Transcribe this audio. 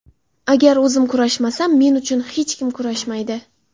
Agar o‘zim kurashmasam, men uchun hech kim kurashmaydi.